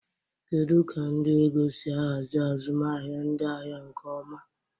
Kedu ka ndị ego si ahazi azụmahịa ndị ahịa nke ọma?